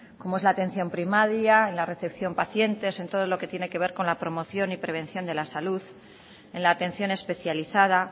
como es la atención primaria en la recepción pacientes en todo lo que tiene que ver con la promoción y prevención de la salud en la atención especializada